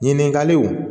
Ɲininkaliw